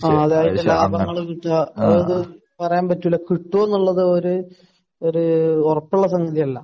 ആഹ്. അതിന്റെ ലാഭങ്ങൾ കിട്ടുക അതൊന്നും പറയാൻ പറ്റില്ല. കിട്ടുമോ എന്നുള്ളത് വരെ ഒരു ഉറപ്പുള്ള സംഗതിയല്ല.